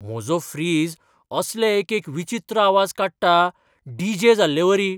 म्हजो फ्रीजअसले एक एक विचित्र आवाज काडटा, डी. जे. जाल्लेवरी!